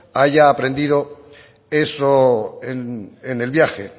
haya aprendido eso en el viaje